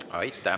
Aitäh!